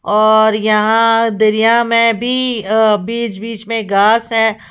और यहां दरिया में भी अ बीच बीच में घास है।